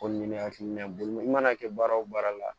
Ko nin ye ne hakilina ye bolo i mana kɛ baara o baara la